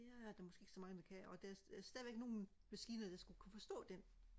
det er der måske ikke så mange der kan og der er stadig nogle maskiner der skal kunne forstå den